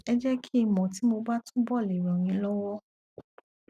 ẹ jẹ kí n mọ tí mo bá túbọ le ràn yín lọwọ